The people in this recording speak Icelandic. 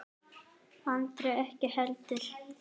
Andri ekki heldur.